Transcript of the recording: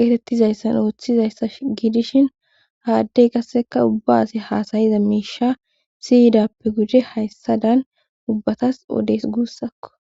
geetettizayssan ooththizayssa giidishin haaddey qasseka ubba asi haasayiza miisha siyidappe gude hayssa dan ubbatas odes guussakko